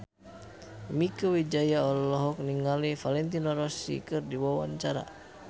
Mieke Wijaya olohok ningali Valentino Rossi keur diwawancara